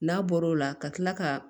N'a bɔr'o la ka tila ka